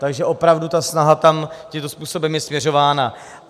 Takže opravdu ta snaha tam tímto způsobem je směřována.